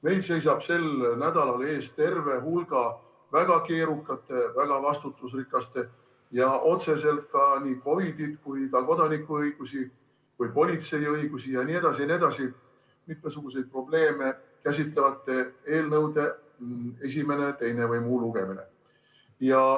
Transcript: Meil seisab sel nädalal ees terve hulk väga keerukate, väga vastutusrikaste ja otseselt nii COVID‑it, kodanikuõigusi kui ka politsei õigusi ja mitmesuguseid muid probleeme käsitlevate eelnõude esimene või teine lugemine.